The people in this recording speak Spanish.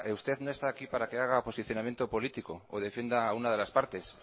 usted no está aquí para que haga posicionamiento político o defienda a una de las partes